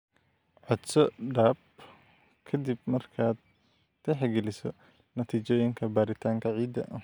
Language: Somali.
Codso DAP ka dib markaad tixgeliso natiijooyinka baaritaanka ciidda.